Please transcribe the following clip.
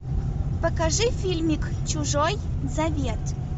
покажи фильмик чужой завет